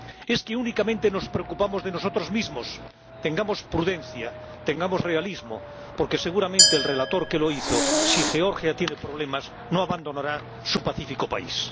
¿Es que únicamente nos preocupamos de nosotros mismos? Tengamos prudencia, tengamos realismo, porque seguramente el ponente que la hizo, si Georgia tiene problemas, no abandonará su pacífico país.